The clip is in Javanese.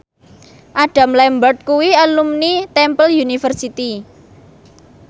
Adam Lambert kuwi alumni Temple University